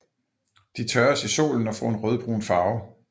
De tørres i solen og får en rødbrun farve